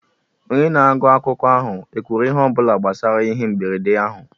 Onye na-agụ akụkọ ahụ ekwuru ihe ọ bụla gbasara ihe mberede ahụ?